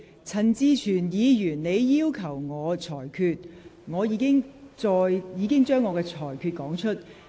陳志全議員，就你剛才提出的要求，我已經說明了我的裁決。